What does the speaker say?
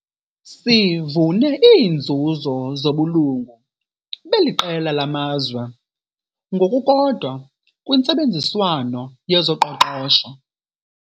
Sivune iinzuzo zobulungu beli qela lamazwe, ngokukodwa kwintsebenziswano yezoqoqosho.